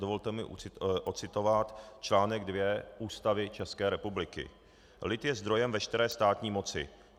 Dovolte mi ocitovat článek 2 Ústavy České republiky:"Lid je zdrojem veškeré státní moci.